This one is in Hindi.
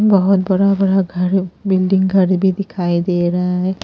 बहुत बड़ा बड़ा घर बिल्डिंग घर भी दिखाई दे रहा है।